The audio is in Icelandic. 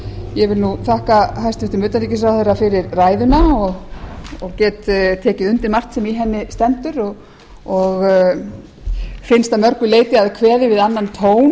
ég vil þakka hæstvirtum utanríkisráðherra fyrir ræðuna og get tekið undir margt sem í henni stendur og finnst að mörgu leyti að kveði við annan